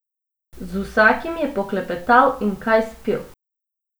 Z vsakim je poklepetal in kaj spil.